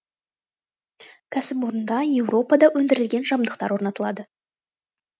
кәсіпорында еуропада өндірілген жабдықтар орнатылады